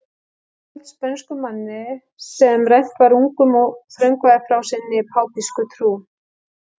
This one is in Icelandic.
Hún var seld spönskum manni sem rænt var ungum og þröngvað frá sinni pápísku trú.